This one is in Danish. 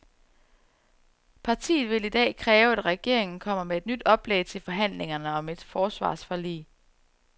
Partiet vil i dag kræve, at regeringen kommer med et nyt oplæg til forhandlingerne om et forsvarsforlig.